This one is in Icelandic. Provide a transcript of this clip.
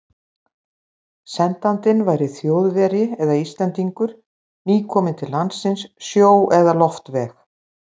Sendandinn væri Þjóðverji eða Íslendingur, nýkominn til landsins sjó- eða loftveg.